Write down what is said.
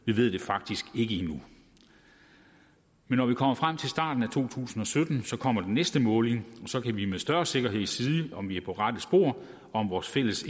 vi ved det faktisk ikke endnu men når vi kommer frem til starten af to tusind og sytten kommer den næste måling og så kan vi med større sikkerhed sige om vi er på rette spor og om vores fælles